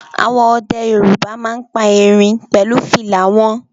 Àwọn ọdẹ Yorùbá máa ń pa erin pẹ̀lú fìlà wọn